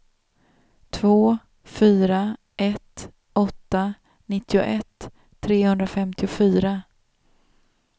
två fyra ett åtta nittioett trehundrafemtiofyra